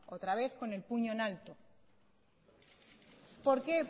otra vez con el puño en alto por qué